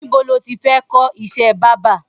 Nibó ló ti fẹ̀ kọ iṣẹ̀ bàbà?